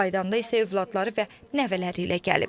Qayıdanda isə övladları və nəvələri ilə gəlib.